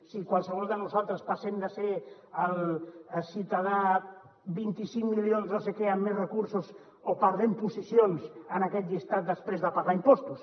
si qualse·vol de nosaltres passem de ser el ciutadà vint cinc milions no sé què amb més recursos o perdem posicions en aquest llistat després de pagar impostos